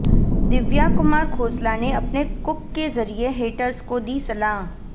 दिव्या कुमार खोसला ने अपने कुक के जरिए हेटर्स को दी सलाह